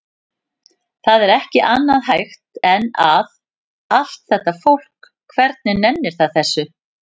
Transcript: Það er ekki annað hægt en að. allt þetta fólk, hvernig nennir það þessu?